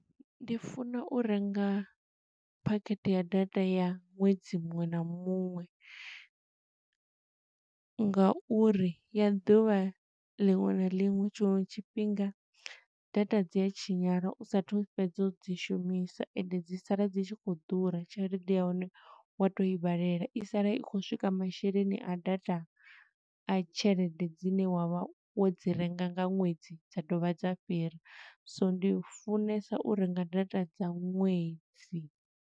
Ndi funa u renga phakhethe ya data ya ṅwedzi muṅwe na muṅwe, nga uri ya ḓuvha liṅwe na liṅwe tshiṅwe tshifhinga data dzi a tshinyala u sathu fhedza u dzi shumisa, ende dzi sala dzi tshi khou ḓura. Tshelede ya hone wa to i vhalela i sala i khou swika masheleni a data a tshelede dzine wa vha wo dzi renga nga ṅwedzi dza dovha dza fhira. So ndi funesa u renga data dza ṅwedzi.